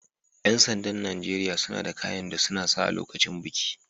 Yan sanda'n Nijeriya suna da kayan da suna sa lokacin biki.